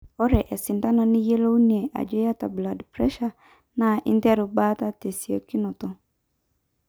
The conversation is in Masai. ore esidano neyiolounye ajo iyata blood pressure naa interru baata tesiokinoto